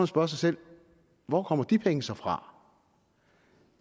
spørge sig selv hvor kommer de penge så fra